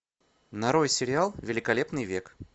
нарой сериал великолепный век